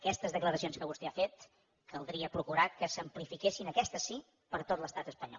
aquestes declaracions que vostè ha fet caldria procurar que s’amplifiquessin aquestes sí per tot l’estat espanyol